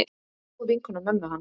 Góð vinkona mömmu hans.